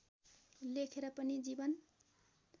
लेखेर पनि जीवन